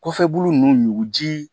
Kɔfɛbu ninnu ɲuku ji